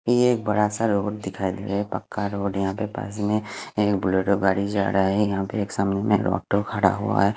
ये एक बड़ा सा रोड दिखाई देरा है पक्का रोड है यहा पे पास में एक ब्लुड़ो गाड़ी जारा है यहाँ एक ऑटो खड़ा हुआ है।